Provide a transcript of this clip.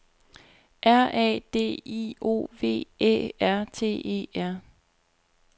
R A D I O V Æ R T E R